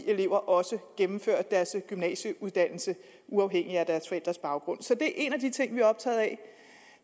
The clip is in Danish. elever også gennemfører deres gymnasieuddannelse uafhængigt af deres forældres baggrund så det er en af de ting vi er optaget af